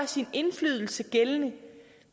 sin indflydelse gældende